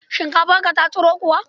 Shinkafarka ta tsiro kuwa?